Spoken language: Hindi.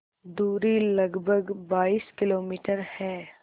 दूरी लगभग बाईस किलोमीटर है